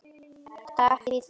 Davíð og Helga.